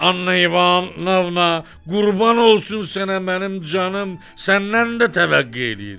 Anvonavna, qurban olsun sənə mənim canım, səndən də təvəqqe eləyirəm.